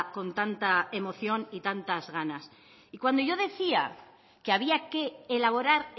con tanta emoción y tantas ganas cuando yo decía que había que elaborar